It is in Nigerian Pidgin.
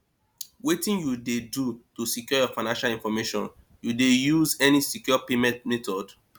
wetin you dey do to secure your financial information you dey use any secure payment method